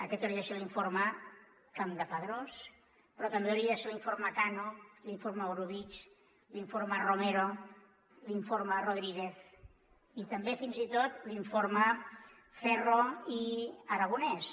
aquest hauria de ser l’informe campdepadrós però també hauria de ser l’informe cano l’informe orobitg l’informe romero l’informe rodríguez i també fins i tot l’informe ferro i aragonés